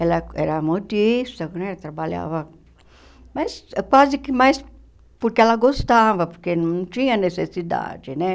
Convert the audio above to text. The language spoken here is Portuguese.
Ela era modista né, trabalhava, mas quase que mais porque ela gostava, porque não tinha necessidade, né?